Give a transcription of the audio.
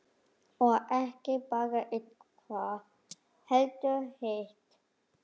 Og ekki bara eitthvað, heldur hitt.